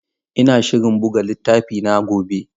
Ina shirin buga littafina gobe.